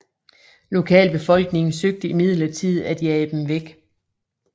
Lokalbefolkningen søgte imidlertid at jage dem væk